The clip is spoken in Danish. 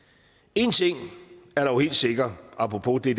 en ting er dog helt sikker apropos det